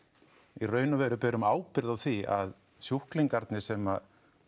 í raun og veru berum ábyrgð á því að sjúklingarnir sem